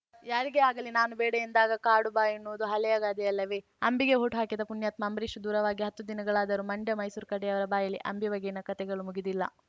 ಯಾರಿಗೇ ಆಗಲಿ ನಾನು ಬೇಡ ಎಂದಾಗ ಕಾಡು ಬಾ ಎನ್ನುವುದು ಹಳೆಯ ಗಾದೆಯಲ್ಲವೇ ಅಂಬಿಗೆ ವೋಟ್‌ ಹಾಕಿದ ಪುಣ್ಯಾತ್ಮ ಅಂಬರೀಷ್‌ ದೂರವಾಗಿ ಹತ್ತು ದಿನಗಳಾದರೂ ಮಂಡ್ಯ ಮೈಸೂರು ಕಡೆಯವರ ಬಾಯಿಯಲ್ಲಿ ಅಂಬಿ ಬಗೆಗಿನ ಕಥೆಗಳು ಮುಗಿದಿಲ್ಲ